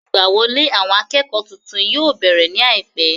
Ìgbà wọlé àwọn akẹ́kọ̀ọ́ titun yóò bẹ̀rẹ̀ ní àìpẹ́